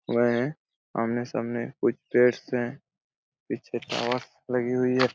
वह हैं आमने-सामने कुछ पेड़ हैं पीछे टावर्स लगी हुई हैं।